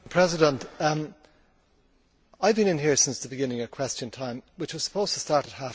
I have been in here since the beginning of Question Time, which was supposed to start at